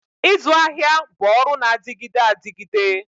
Ịzụ ahịa bụ ọrụ na-adịgide adịgide